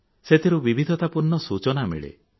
ସେଥିରୁ ବିବିଧତା ପୂର୍ଣ୍ଣ ସୂଚନା ମିଳେ